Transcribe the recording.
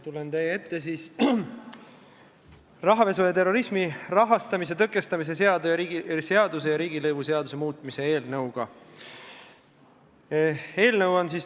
Tulen teie ette rahapesu ja terrorismi rahastamise tõkestamise seaduse ning riigilõivuseaduse muutmise seaduse eelnõuga.